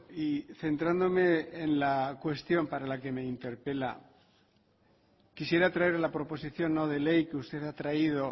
y centrándome en la cuestión para la que me interpela quisiera traer la proposición no de ley que usted ha traído